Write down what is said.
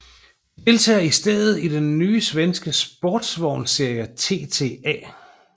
De deltager i stedet i den nye svenske sportsvogns serie TTA